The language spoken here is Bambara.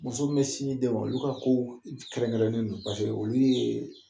Muso min bɛ sin di den ma, olu ka ko kɛrɛnkɛrɛnnen don paseke olu ye